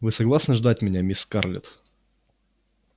вы согласны ждать меня мисс скарлетт